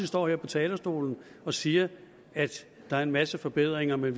står her på talerstolen og siger at der er en masse forbedringer men